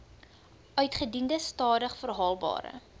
uitgediende stadig verhandelbare